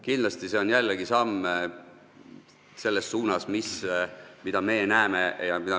Kindlasti on see jällegi samm selles suunas, mida me oleme näinud.